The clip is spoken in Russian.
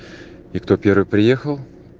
и кто первый приехал